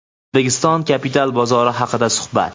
O‘zbekiston kapital bozori haqida suhbat.